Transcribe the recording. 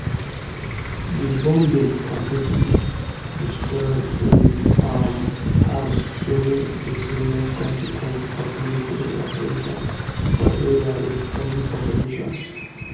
di bombing completely destroy im um house showing di serious consequence of military operations for area wit heavy populations